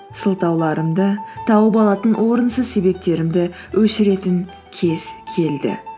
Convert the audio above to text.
сылтауларымды тауып алатын орынсыз себептерімді өшіретін кез келді